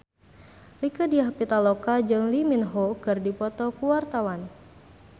Rieke Diah Pitaloka jeung Lee Min Ho keur dipoto ku wartawan